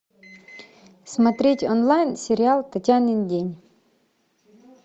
смотреть онлайн сериал татьянин день